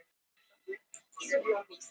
Sviti límir svo þessi efni saman í hnoðra.